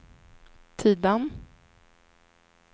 Tidan